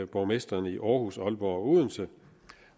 borgmestrene i aarhus aalborg og odense